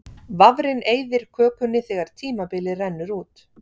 Vafrinn eyðir kökunni þegar tímabilið rennur út.